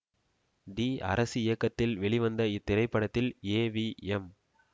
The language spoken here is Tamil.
டி அரசு இயக்கத்தில் வெளிவந்த இத்திரைப்படத்தில் ஏ வி எம்